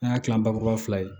An y'a kila bakuruba fila ye